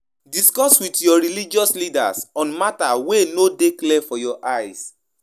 If you no agree with wetin religious leader talk, you fit call am for corner make im explain more